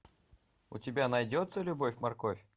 у тебя найдется любовь морковь